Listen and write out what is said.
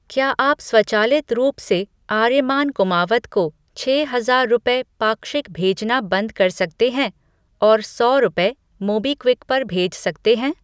क्या आप स्वचालित रूप से आर्यमान कुमावत को छः हजार रुपये पाक्षिक भेजना बंद कर सकते हैं और सौ रुपये, मोबीक्विक पर भेज सकते हैं?